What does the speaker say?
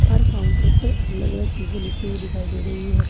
हर counter पर अलग अलग चीजें लिखी हुई दिखाई दे रही है।